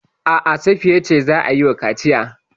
A'a, Safiya ce za a yi wa kaciya.